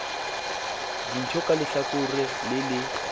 dintho ka lehlakore le le